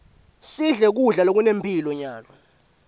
sidle kudla lokunemphilo nyalo